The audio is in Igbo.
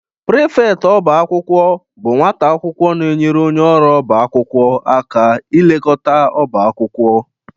Prifeti ọba akwụkwọ bụ nwata akwụkwọ na-enyere onye ọrụ ọba akwụkwọ aka ilekọta ọba akwụkwọ